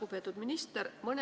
Lugupeetud minister!